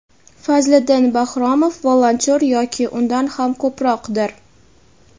Fazliddin Bakhromov - volontyor yoki undan ham ko‘proqdir.